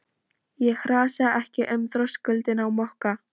Ég hrasaði ekki um þröskuldinn á Mokka.